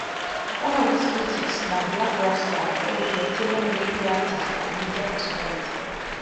one of dis critics na blakk rasta wey be veteran reggae artiste and media personality